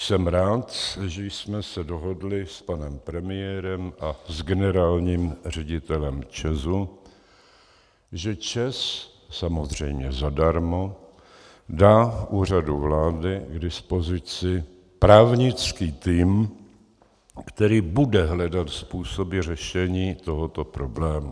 Jsem rád, že jsme se dohodli s panem premiérem a s generálním ředitelem ČEZu, že ČEZ, samozřejmě zadarmo, dá Úřadu vlády k dispozici právnický tým, který bude hledat způsoby řešení tohoto problému.